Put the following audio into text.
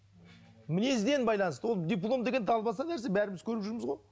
мінезден байланысты ол диплом деген далбаса нәрсе бәріміз көріп жүрміз ғой